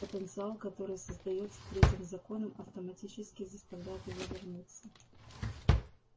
потенциал который создаётся третьим законом автоматически заставляет его вернуться